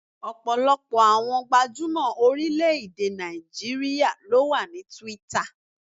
Ọ̀pọ̀lọpọ̀ àwọn gbajúmọ̀ orílẹ̀-èdè Nàìjíríà ló wà ní Twitter.